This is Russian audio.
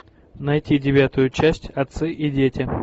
найти девятую часть отцы и дети